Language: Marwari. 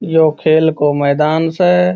ये खेल को मैदान स।